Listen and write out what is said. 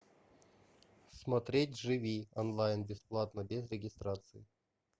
смотреть живи онлайн бесплатно без регистрации